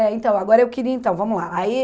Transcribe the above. É, então, agora eu queria, então, vamos lá. Aí